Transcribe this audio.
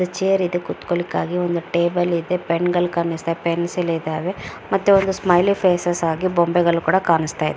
chair ಇದೆ ಕುತ್ಕೊಳ್ಳಿಕ್ಕಾಗಿ ಒಂದ್ ಟೇಬಲ್ ಇದೆ ಪೆನ್ಗಳ್ ಕಾಣಿಸ್ತಾ ಪೆನ್ಸಿಲ್ ಇದಾವೆ ಮತ್ತೆ ಒಂದ್ ಸ್ಟೈಲಿ ಫೇಸಸ್ ಆಗಿ ಬೊಂಬೆಗಳು ಕೂಡಾ ಕಾಣಿಸ್ತಾ --